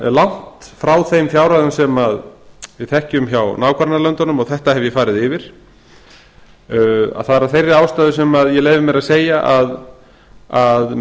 langt frá þeim fjárhæðum sem við þekkjum hjá nágrannalöndunum og þetta hef ég farið yfir að það er af þeirri ástæðu sem ég leyfi mér að segja að